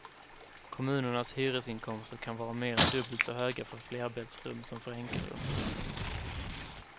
Kommunernas hyresinkomster kan vara mer än dubbelt så höga för flerbäddsrum som för enkelrum.